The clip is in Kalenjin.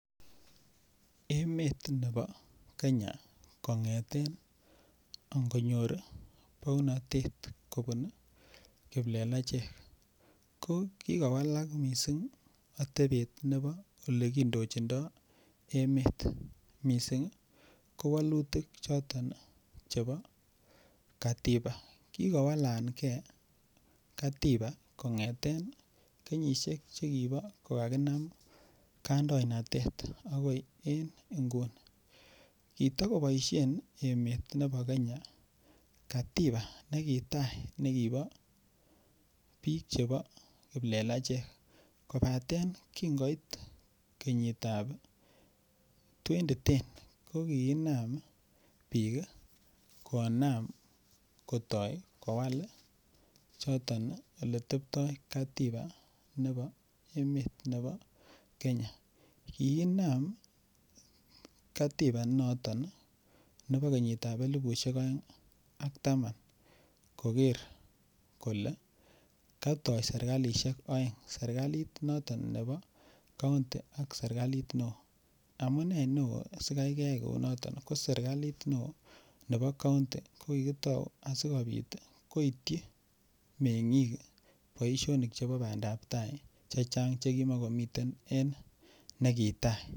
Emet nebo Kenya kongeten angonyor bounatet kobun kiplelachek ko ki kowalak mising atebet nebo Ole kindochindo emet mising ko walutik choton chebo katiba kikowalange katiba kongeten kenyisiek Che kibo ko kakinam kandoinatet agoi en inguni kitokoboisien emet nebo Kenya katiba nekitai nekibo bik Chebo kiplelachek kobaten kingoit kenyitab 2010 ko ki inam bik konam kotoi kowal Ole teptoi katiba nebo emet nebo Kenya ki inam katiba inoto nebo kenyitab elipusiek aeng ak taman koker kole katoi serkalisiek aeng serkalit noton nebo kaunti ak serkalit neo amune neo asi keyai kou noton ko serkalit nebo kaunti ko ko tau asikobit koityi mengik boisionik chebo bandap tai Che kimokomiten en serkalit nekitai